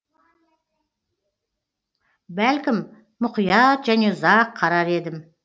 бәлкім мұқият және ұзақ қарар едім